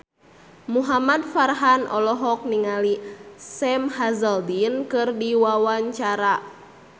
Muhamad Farhan olohok ningali Sam Hazeldine keur diwawancara